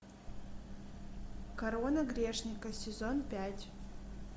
корона грешника сезон пять